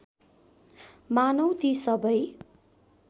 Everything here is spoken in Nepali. मानौँ ती सबै